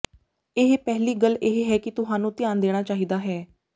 ਇਹ ਪਹਿਲੀ ਗੱਲ ਇਹ ਹੈ ਕਿ ਤੁਹਾਨੂੰ ਧਿਆਨ ਦੇਣਾ ਚਾਹੀਦਾ ਹੈ